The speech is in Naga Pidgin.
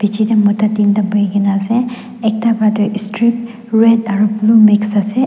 chair te mota tinta bohe kina ase ekta para tu street red aru mix ase.